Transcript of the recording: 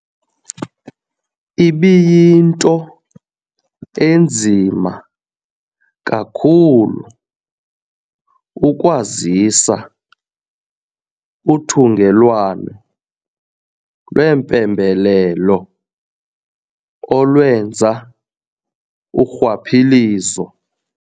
Ibiyinto enzima kakhulu ukwazisa uthungelwano lwempembelelo olwenza urhwaphilizo.